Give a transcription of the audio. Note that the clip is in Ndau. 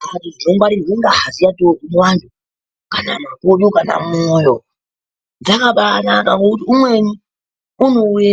Mbatso dzinongwaririrwe ngazi yatorwe muvantu, kana makodo kana mwoyo, dzakabaanaka ngokuti umweni unouye